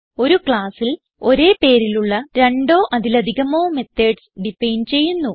ഒരു classൽ ഒരേ പേരിലുള്ള രണ്ടോ അതിലധികമോ മെത്തോഡ്സ് ഡിഫൈൻ ചെയ്യുന്നു